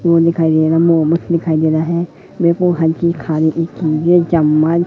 मोमोज दिखाई दे रहा है मेरे को हल्की खाने की चीजे चम्मच--